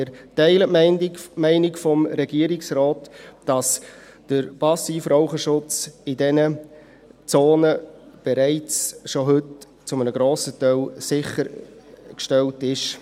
Wir teilen die Meinung des Regierungsrates, dass der Passivrauchschutz in diesen Zonen bereits heute schon zu einem grossen Teil sichergestellt ist.